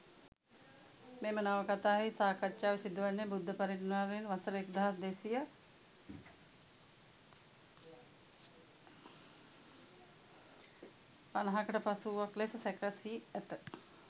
මෙම නවකථාවෙහි සාකච්ඡාව සිදුවන්නේ බුද්ධ පරිනිර්වාණයෙන් වසර එක්දහස් දෙසිය පණහකට පසුව වූවක් ලෙස සැකසී ඇත.